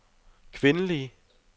kvindelige